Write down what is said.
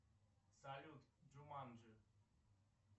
салют джуманджи